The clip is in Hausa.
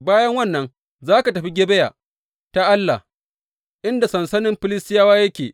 Bayan wannan, za ka tafi Gebiya ta Allah, inda sansanin Filistiyawa yake.